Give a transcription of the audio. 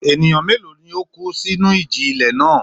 Ènìyàn mélòó ni ó kú sínú ìjì-ilẹ̀ náà?